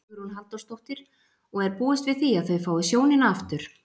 Hugrún Halldórsdóttir: Og er búist við því að þau fái sjónina aftur?